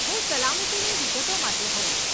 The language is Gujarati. હું સલામતીની વિગતો માટે હોઈશ.